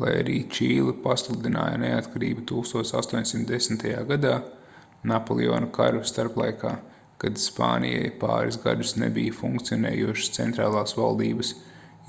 lai arī čīle pasludināja neatkarību 1810. gadā napoleona karu starplaikā kad spānijai pāris gadus nebija funkcionējošas centrālās valdības